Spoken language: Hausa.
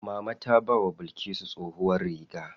Mama ta bawa Bilkisu tsohuwar riga.